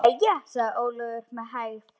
Jæja, sagði Ólafur með hægð.